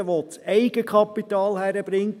jeder, der das Eigenkapital hinbekommt;